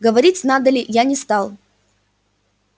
говорить надо ли я не стал